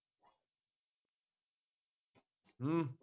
ਹੂ